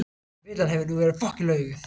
Villan hefur nú verið löguð